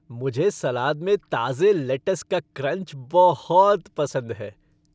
मुझे सलाद में ताज़े लैटस का क्रंच बहुत पसंद है।